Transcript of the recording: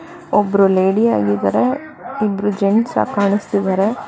ಒಬ್ರು ಲೇಡಿ ಆಗಿದ್ದಾರೆ ಇಬ್ಬರೂ ಜೆಂಟ್ಸ್ ಆಗ್ ಕಾಣುಸ್ತಿದಾರೆ.